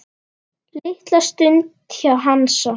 Litla stund hjá Hansa